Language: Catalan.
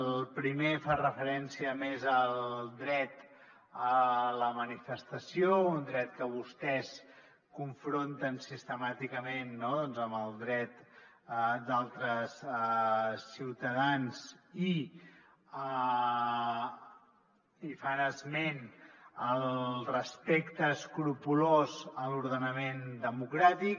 el primer fa referència més al dret a la manifestació un dret que vostès confronten sistemàticament amb el dret d’altres ciutadans i fan esment del respecte escrupolós a l’ordenament democràtic